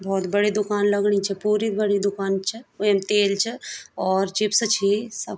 बहौत बड़ी दूकान लगणी च पूरी बड़ी दूकान च वेम तेल च और चिप्स छी सब।